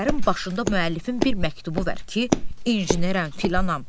Əsərin başında müəllifin bir məktubu var ki, inam, filanam.